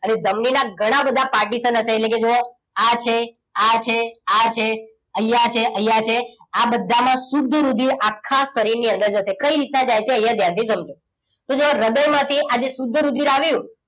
અને ધમની ના ઘણા બધા partition હશે એટલે કે જુઓ આ છે આ છે અહીંયા છે અહીંયા છે આ બધામાં શુધ્ધ રુધિર આખા શરીર ની અંદર જશે કઈ રીતે જાય છે અહીંયા ધ્યાનથી સમજો તો જુઓ હૃદયમાંથી આજે શુદ્ધ રુધિર આવ્યું